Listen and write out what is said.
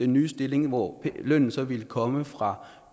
nye stillinger hvor lønnen så vil komme fra